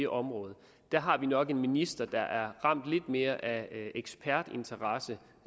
område der har vi nok en minister der er ramt lidt mere af ekspertinteresse